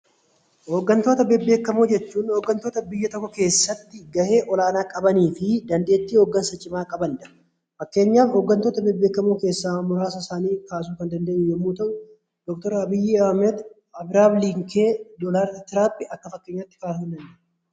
Hoggantoota beekamoo jechuun hoggantoota biyya tokko keessatti ga'ee olaanaa qabanii fi dandeettii hoggansa cimaa qabaniidha. Fakkeenyaaf hoggantoota beekamoo keessaa muraasa isaanii kaasuu kan dandeenyu yoo ta'u; Abiraam Linkoon fi Doonaald Tiraamp fudhachuun ni danda'ama.